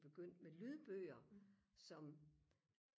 begyndt med lydbøger som